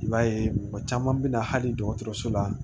I b'a ye mɔgɔ caman bɛ na hali dɔgɔtɔrɔso la